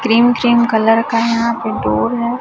Cream cream colour का यहां पे डोर है।